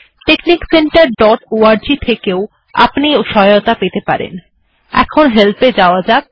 টেক্সনিক center dot org থেকেও আপনি সহায়তা পেতে পারেন এই ওএবসাইট টি আমরা আগেও দেখেছি